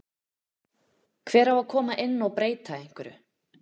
Hver á að koma inn og breyta einhverju?